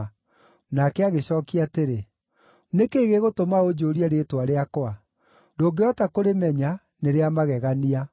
Nake agĩcookia atĩrĩ, “Nĩ kĩĩ gĩgũtũma ũnjũũrie rĩĩtwa rĩakwa? Ndũngĩhota kũrĩmenya, nĩ rĩa magegania.”